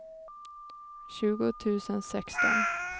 tjugo tusen sexton